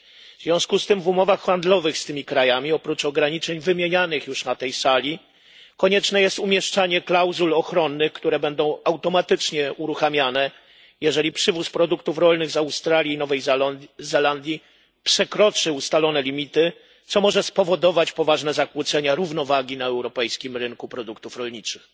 W związku z tym w umowach handlowych z tymi krajami, oprócz ograniczeń wymienianych już na tej sali, konieczne jest umieszczanie klauzul ochronnych, które będą automatycznie uruchamiane, jeżeli przywóz produktów rolnych z Australii i Nowej Zelandii przekroczy ustalone limity, co może spowodować poważne zakłócenia równowagi na europejskim rynku produktów rolniczych.